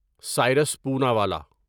Cyrus Poonawalla